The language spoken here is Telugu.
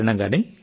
ఏమీ కాదు సార్